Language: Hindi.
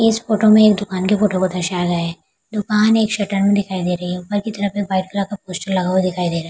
इस फोटो में दुकान के फोटो को दर्शाया गया है दुकान एक शटर में दिखाई दे रही है यहां पर वाइट कलर का पोस्टर लगा हुआ दिखाई दे रहा है।